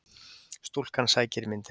Stúlkan sækir myndina.